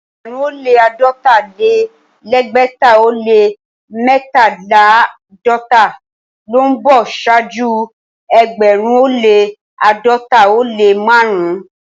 Ẹgbẹ̀rún ó lẹ́ àádọ́ta-lé-lẹ́gbẹ̀ta ó lẹ́ mẹ́tàléláàdọ́ta ló ń bọ̀ ṣáájú ẹgbẹ̀rún ó lẹ́ àádọ́ta ó lẹ́ márùn-ún.